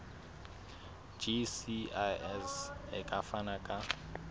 gcis e ka fana ka